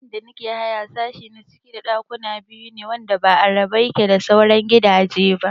A inda nake haya sashi na ciki da ɗakuna biyu ne wanda ba a rabe yake da sauran gidaje ba